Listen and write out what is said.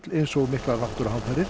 eins og miklar náttúruhamfarir